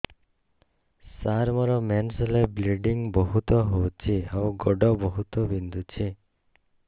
ସାର ମୋର ମେନ୍ସେସ ହେଲେ ବ୍ଲିଡ଼ିଙ୍ଗ ବହୁତ ହଉଚି ଆଉ ଗୋଡ ବହୁତ ବିନ୍ଧୁଚି